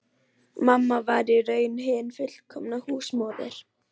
Mamma var í raun hin fullkomna húsmóðir.